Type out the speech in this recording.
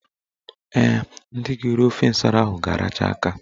Ee, ndị ga-eri ofe nsara ahụ ga-aracha aka.